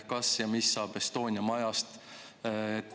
Kas ja mis saab Estonia majast?